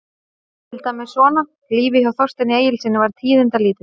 Til dæmis svona: Lífið hjá Þorsteini Egilssyni var tíðindalítið.